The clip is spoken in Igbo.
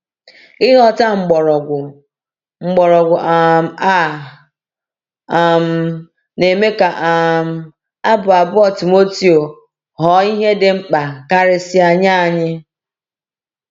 Ịghọta mgbọrọgwụ mgbọrọgwụ um a um na-eme ka um Abụ abụọ Timoteo ghọọ ihe dị mkpa karịsịa nye anyị.